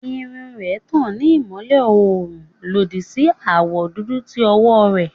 Irun rẹ n tan ni imọlẹ oorun lodi si awọ dudu ti ọwọ rẹ